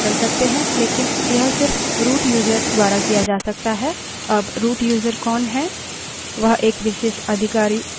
फिर भी वर्तमान password को जाने बिना आप password बदल सकते हैं लेकिन यह सिर्फ root यूज़र द्वारा किया जा सकता है